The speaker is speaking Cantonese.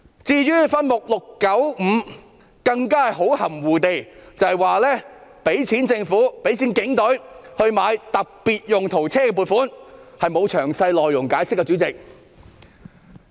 至於分目695更含糊地指撥款用於購置和更換警隊特別用途車輛，但沒有詳細解釋內容。